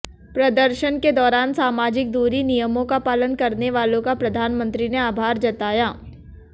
प्रदर्शन के दौरान सामाजिक दूरी नियमों का पालन करने वालों का प्रधानमंत्री ने आभार जताया